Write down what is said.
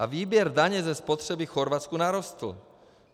A výběr daně ze spotřeby v Chorvatsku narostl.